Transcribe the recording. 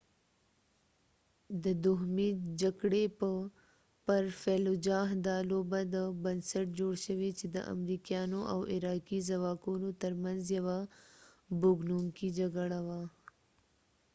دا لوبه د fallujah د دوهمې جکړې پر بنسټ جوړ شوی چې د امریکایانو او عراقي ځواکونو تر منځ یوه بوږنوونکې جګړه وه